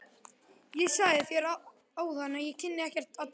Ég sagði þér áðan að ég kynni ekkert að dansa.